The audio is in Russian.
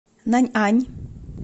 наньань